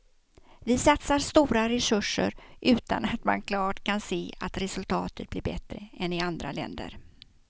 Vi satsar stora resurser utan att man klart kan se att resultatet blir bättre än i andra länder.